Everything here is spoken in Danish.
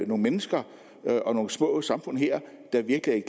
nogle mennesker og nogle små samfund her der virkelig